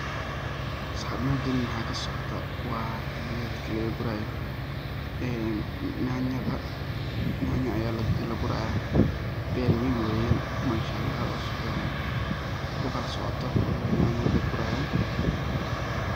Saxib mejan maxa kasocotaa, wa qedka laqagurayo enn, nyanyadha , nyanya aya lagurayaa ber wen weyen, manshaalax oo sufican ukalasocotoo, weliwaa nyanyadha lagurayoo.